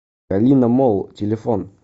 калина молл телефон